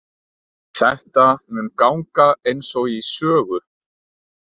Þetta mun ganga einsog í sögu.